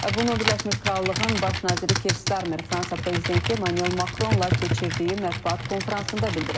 Bunu Birləşmiş Krallığın baş naziri Kir Starmer Fransa prezidenti Emmanuel Macronla keçirdiyi mətbuat konfransında bildirib.